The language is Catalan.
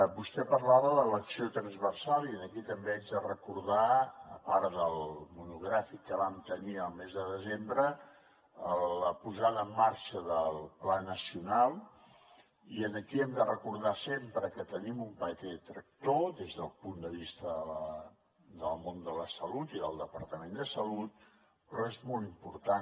vostè parlava de l’acció transversal i aquí també haig de recordar a part del monogràfic que vam tenir el mes de desembre la posada en marxa del pla nacional i aquí hem de recordar sempre que tenim un paper tractor des del punt de vista del món de la salut i del departament de salut però és molt important